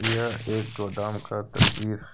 यह एक गोदाम का तस्वीर है।